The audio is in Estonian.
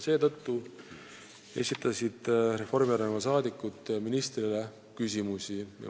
Seetõttu esitasid Reformierakonna saadikud ministrile küsimusi.